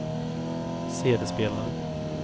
CD-spelare